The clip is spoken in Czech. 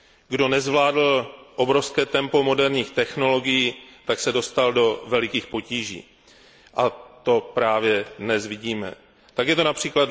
Kdo nezvládl obrovské tempo moderních technologií, dostal se do velikých potíží, a to právě dnes vidíme. Tak je to např.